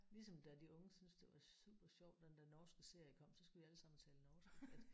Ligesom da de unge synes det var super sjovt når den der norske serie kom så skulle de alle sammen tale norsk